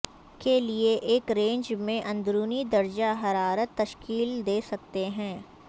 کے لئے ایک رینج میں اندرونی درجہ حرارت تشکیل دے سکتے ہیں